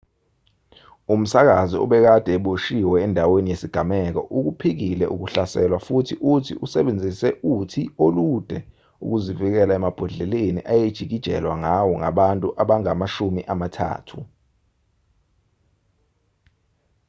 umsakazi obekade eboshiwe endaweni yesigameko ukuphikile ukuhlaselwa futhi uthi usebenzise uthi olude ukuzivikela emabhodleleni ayejikijelwa ngawo ngabantu abangaba amashumi amathathu